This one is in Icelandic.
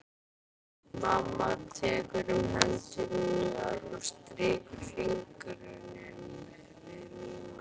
Mamma tekur um hendur mínar og strýkur fingrunum við mína.